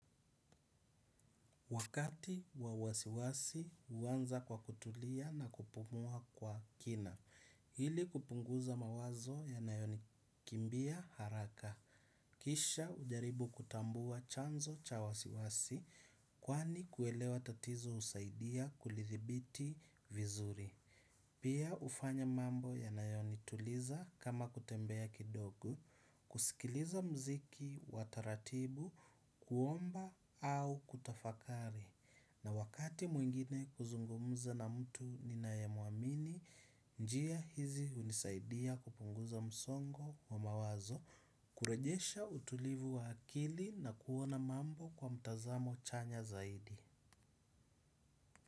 Wakati wa wasiwasi huanza kwa kutulia na kupumua kwa kina. Ili kupunguza mawazo yanayonikimbia haraka. Kisha hujaribu kutambua chanzo cha wasiwasi kwani kuelewa tatizo husaidia kulithibiti vizuri. Pia hufanya mambo yanayonituliza kama kutembea kidogo, kusikiliza mziki, wa taratibu, kuomba au kutafakari. Na wakati mwingine kuzungumza na mtu ninayemuamini, njia hizi hunisaidia kupunguza msongo wa mawazo, kurejesha utulivu wa akili na kuona mambo kwa mtazamo chanya zaidi.